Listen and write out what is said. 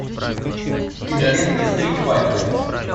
кинолента стритфайтер